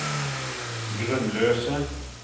grunnløse